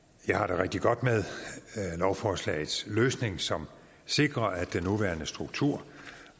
rigtig godt med lovforslagets løsning som sikrer at den nuværende struktur